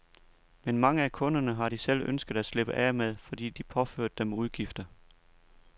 Men mange af kunderne har de selv ønsket at slippe af med, fordi de påførte dem udgifter.